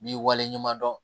N b'i waleɲuman dɔn